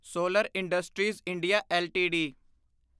solar industries India LTD